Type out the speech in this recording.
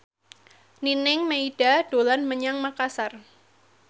Nining Meida dolan menyang Makasar